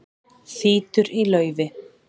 Þýtur í laufi